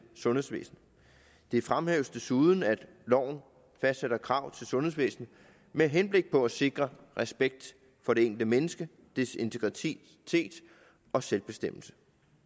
sundhedsvæsenet det fremhæves desuden at loven fastsætter krav til sundhedsvæsenet med henblik på at sikre respekt for det enkelte menneske og dets integritet og selvbestemmelse